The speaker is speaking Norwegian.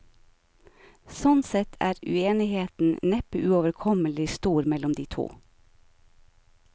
Sånn sett er uenigheten neppe uoverkommelig stor mellom de to.